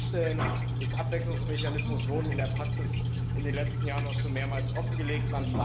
Die Schwachstellen des Abwicklungsmechanismus wurden in der Praxis in den letzten Jahren auch schon mehrmals offengelegt.